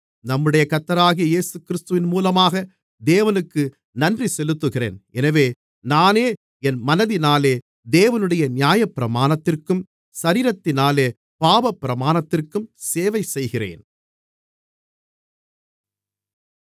நம்முடைய கர்த்தராகிய இயேசுகிறிஸ்துவின் மூலமாக தேவனுக்கு நன்றி செலுத்துகிறேன் எனவே நானே என் மனதினாலே தேவனுடைய நியாயப்பிரமாணத்திற்கும் சரீரத்தினாலே பாவப்பிரமாணத்திற்கும் சேவை செய்கிறேன்